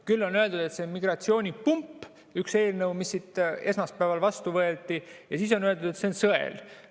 Küll on öeldud, et see on migratsioonipump – see üks eelnõu, mis siin esmaspäeval vastu võeti –, ja siis on öeldud, et see on sõel.